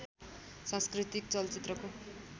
सांस्कृतिक चलचित्रको